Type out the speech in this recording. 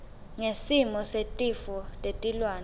ngesimo setifo tetilwane